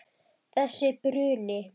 Þessi bruni.